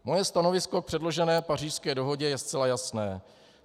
Moje stanovisko k předložené Pařížské dohodě je zcela jasné.